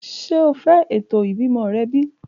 Ṣe o fẹ eto ibimọ rẹ bi?